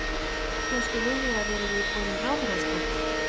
Bjóstu við því að, að þér yrði boðinn ráðherrastóll?